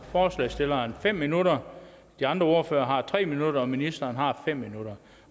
forslagsstilleren har fem minutter de andre ordførere har tre minutter og ministeren har fem minutter